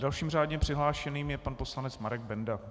Dalším řádně přihlášeným je pan poslanec Marek Benda.